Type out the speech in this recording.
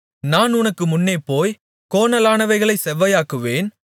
நான் உனக்கு முன்னே போய் கோணலானவைகளைச் செவ்வையாக்குவேன்